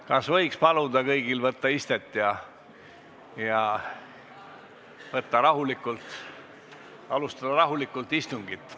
Kas ma võin paluda kõigil võtta istet ja alustada rahulikult istungit?